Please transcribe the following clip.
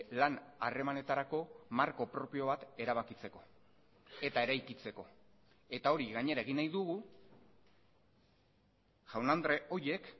lan harremanetarako marko propio bat erabakitzeko eta eraikitzeko eta hori gainera egin nahi dugu jaun andre horiek